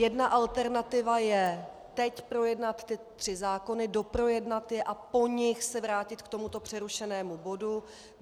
Jedna alternativa je teď projednat ty tři zákony, doprojednat je a po nich se vrátit k tomuto přerušenému bodu.